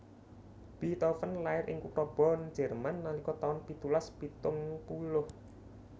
Beethoven lair ing kutha Bonn Jerman nalika taun pitulas pitung puluh